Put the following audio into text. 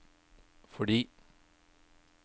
fordi